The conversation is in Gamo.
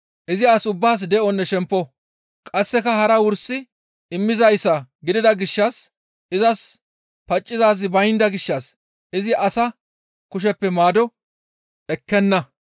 Izi as ubbaas de7onne shempo; qasseka hara wursi immizayssa gidida gishshas izas paccizaazi baynda gishshas izi asa kusheppe maado ekkenna.